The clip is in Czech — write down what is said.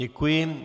Děkuji.